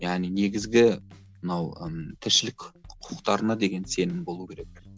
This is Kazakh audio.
яғни негізгі мынау ыыы тіршілік құқықтарына деген сенім болуы керек